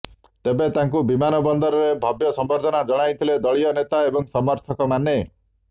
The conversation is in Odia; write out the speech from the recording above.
ତେବେ ତାଙ୍କୁ ବିମାନବନ୍ଦରରେ ଭବ୍ୟ ସମ୍ବର୍ଦ୍ଧନା ଜଣାଇଥିଲେ ଦଳୀୟ ନେତା ଏବଂ ସମର୍ଥକମାନେ